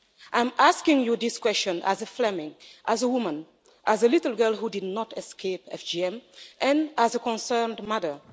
I'm asking you this question as a Fleming and a woman, as a little girl who did not escape FGM and as a concerned mother.